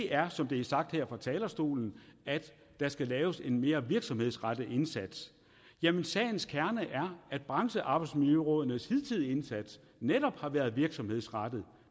er som det er sagt her fra talerstolen at der skal laves en mere virksomhedsrettet indsats jamen sagens kerne er at branchearbejdsmiljørådenes hidtidige indsats netop har været virksomhedsrettet